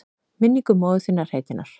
Minningu móður þinnar heitinnar?